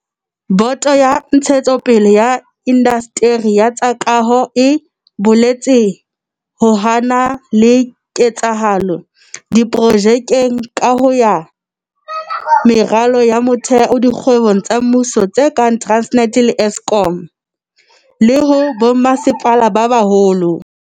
Boto ya Ntshetsopele ya Indasteri ya tsa Kaho e boletse ha ho na le keketseho diprojekeng tsa kaho ya meralo ya motheo dikgwebong tsa mmuso tse kang Transnet le Eskom, le ho bommasepala ba baholo.